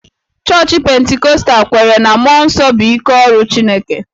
Chọọchị Pentikọstal kweere na mmụọ nsọ bụ ike ọrụ Chineke